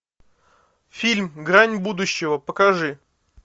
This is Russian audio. фильм грань будущего покажи